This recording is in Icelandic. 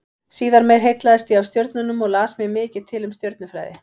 Síðar meir heillaðist ég af stjörnunum og las mér mikið til um stjörnufræði.